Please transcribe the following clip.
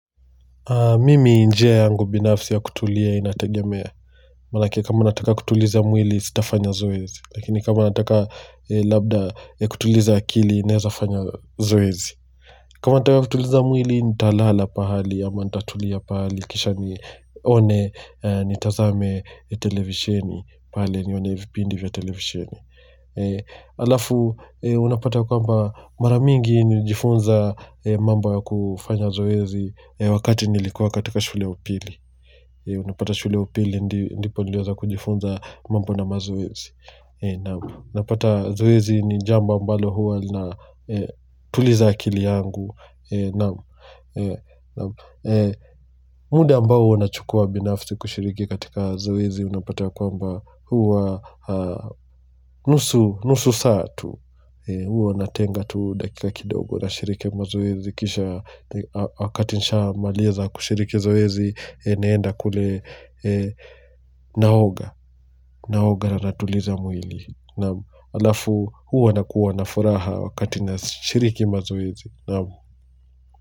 Mimi njia yangu binafsi ya kutulia inategemea. Manake kama nataka kutuliza mwili sitafanya zoezi. Lakini kama nataka labda ya kutuliza akili naeza fanya zoezi. Kama nataka kutuliza mwili nitalala pahali ama nitatulia pahali kisha nione nitazame televisheni. Pahali nione vipindi vya televisheni. Alafu unapata kwamba maramingi nilijifunza mambo kufanya zoezi Wakati nilikuwa katika shule ya upili Unapata shule ya upili ndipo nilipoweza kujifunza mambo na mazoezi unapata zoezi ni jambo ambalo huwa linatuliza akili yangu naam muda ambao huwa nachukua binafsi kushiriki katika zoezi Unapata ya kwamba huwa nusu saa tu Huwa natenga tu dakika kidogo nashiriki mazoezi kisha wakati nishamaliza kushiriki zoezi naenda kule naoga naoga na natuliza mwili halafu huwa nakuwa na furaha wakati nashiriki mazoezi naam.